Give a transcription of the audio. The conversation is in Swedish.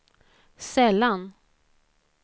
sällan